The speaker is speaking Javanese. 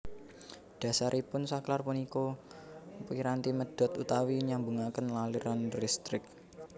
Dhasaripun saklar punika piranti medhot utawi nyambungaken aliran listrik